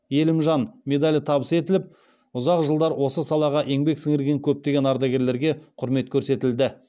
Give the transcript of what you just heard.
елімжан медалі табыс етіліп ұзақ жылдар осы салаға еңбек сіңірген көптеген ардагерлерге құрмет көрсетілді